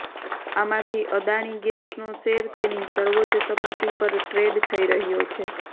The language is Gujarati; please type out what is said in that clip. આમાંથી અદાણી ગેસનો શેર તેની સર્વોચ્ચ સપાટી પર ટ્રેડ થઈ રહ્યો છે